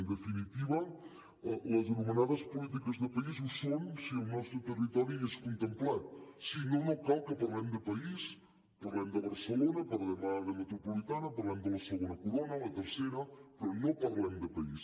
en definitiva les anomenades polítiques de país ho són si el nostre territori hi és contemplat si no no cal que parlem de país parlem de barcelona parlem d’àrea metropolitana parlem de la segona corona la tercera però no parlem de país